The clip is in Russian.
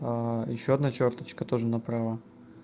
а ещё одна чёрточка тоже направо